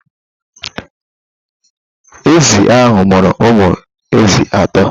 Ezi ahụ mụrụ ụmụ ezi atọ.